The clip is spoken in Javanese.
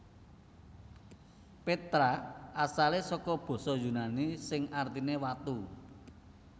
Petra asale saka basa yunani sing artine watu